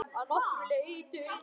Að nokkru leyti.